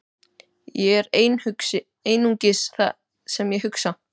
Ég er einungis það sem ég hugsa.